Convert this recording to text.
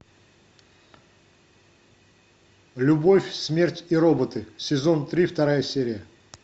любовь смерть и роботы сезон три вторая серия